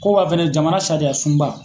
Ko waa fɛnɛ jamana sariya sunba.